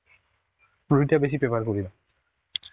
রুটি টা বেশি prefer করিনা.